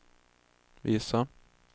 visa